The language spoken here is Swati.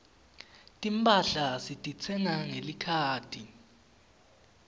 timphahla sititsenga ngelikhadi